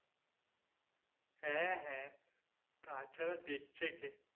হ্যাঁ হ্যাঁ তাছাড়া দেখছে কে?